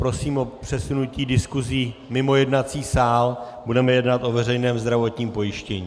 Prosím o přesunutí diskusí mimo jednací sál, budeme jednat o veřejném zdravotním pojištění.